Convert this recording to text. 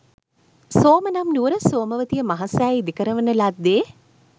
සෝම නම් නුවර සෝමවතිය මහා සෑය ඉදිකරවන ලද්දේ